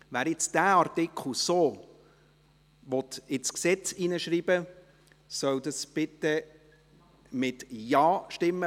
Wer diesen Artikel nun so ins Gesetz schreiben will, soll bitte Ja stimmen, wer dies nicht will, stimmt Nein.